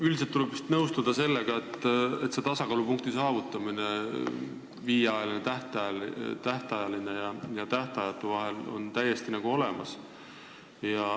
Üldiselt tuleb vist nõustuda, et on võimalik saavutada tasakaalupunkt viie aasta pikkuse tähtajaga ja tähtajatu lepingu vahel.